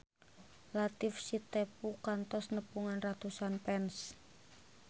Latief Sitepu kantos nepungan ratusan fans